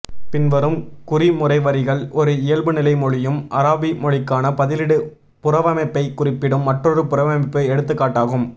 பின்வரும் குறிமுறைவரிகள் ஒரு இயல்புநிலை மொழியும் அராபி மொழிக்கான பதிலீடு புறவமைப்பை குறிப்பிடும் மற்றொரு புறவமைப்பு எடுத்துக்காட்டாகும்